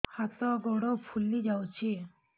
ହାତ ଗୋଡ଼ ଫୁଲି ଯାଉଛି